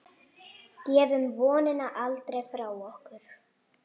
Gefum vonina aldrei frá okkur.